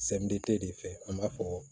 de fɛ an b'a fɔ